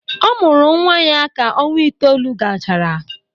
Ọ mụrụ nnwa ya ka ọnwa itoolu gachara.